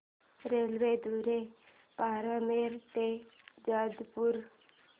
रेल्वेद्वारे बारमेर ते जोधपुर